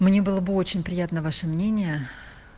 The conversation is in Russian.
мне было бы очень приятно ваше мнение